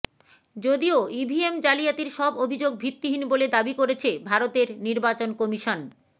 যদিও ইভিএম জালিয়াতির সব অভিযোগ ভিত্তিহীন বলে দাবি করেছে ভারতের নির্বাচন কমিশন